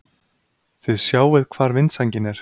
Þið sjáið hvar vindsængin er!